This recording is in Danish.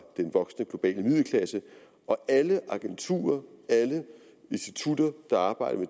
den voksende globale middelklasse og alle agenturer alle institutter der arbejder